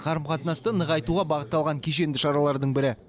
қарым қатынасты нығайтуға бағытталған кешенді шаралардың бірі